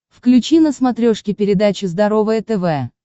включи на смотрешке передачу здоровое тв